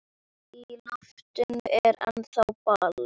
Í loftinu er ennþá ball.